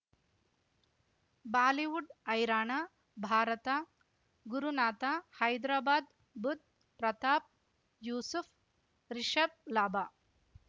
Bollywood ಹೈರಾಣ ಭಾರತ ಗುರುನಾಥ ಹೈದ್ರಾಬಾದ್ ಬುಧ್ ಪ್ರತಾಪ್ ಯೂಸುಫ್ ರಿಷಬ್ ಲಾಭ